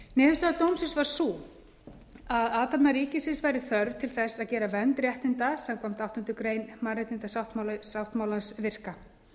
niðurstaða dómsins var sú að athafna ríkisins væri þörf til þess að gera vernd réttinda samkvæmt áttundu grein mannréttindasáttmálans virka